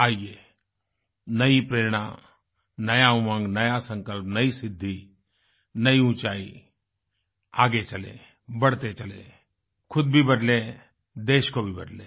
आइये नयी प्रेरणा नयी उमंग नया संकल्प नयीसिद्धिनयी ऊँचाई आगे चलें बढ़ते चलें खुद भी बदलें देश को भी बदलें